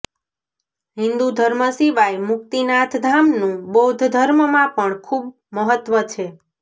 હિન્દુ ધર્મ સિવાય મુક્તિનાથ ધામનું બૌદ્ધ ધર્મમાં પણ ખૂબ મહત્વ છે